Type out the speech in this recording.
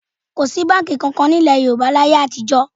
Kò sí báǹkì kankan ní ilẹ̀ Yorùbá láyé àtijọ́